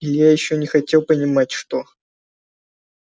илья ещё не хотел понимать что